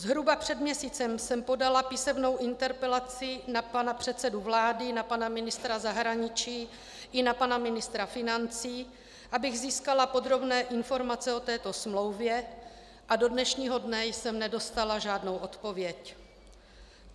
Zhruba před měsícem jsem podala písemnou interpelaci na pana předsedu vlády, na pana ministra zahraničí i na pana ministra financí, abych získala podrobné informace o této smlouvě, a do dnešního dne jsem nedostala žádnou odpověď.